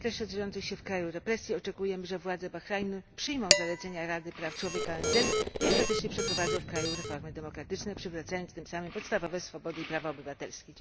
W świetle szerzących się w kraju represji oczekujemy, że władze Bahrajnu przyjmą zalecenia Rady Praw Człowieka ONZ i ostatecznie przeprowadzą w kraju reformy demokratyczne, przywracając tym samym podstawowe swobody i prawa obywatelskie.